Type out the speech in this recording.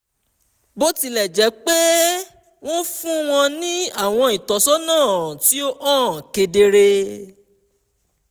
bó tilẹ̀ jẹ́ pé wọ́n fún wọn ní àwọn ìtọ́sọ́nà tí ó hàn kedere